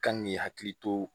Kan k'i hakili to